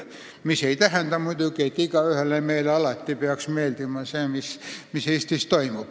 See ei tähenda muidugi, et igaühele meist peaks alati meeldima see, mis Eestis toimub.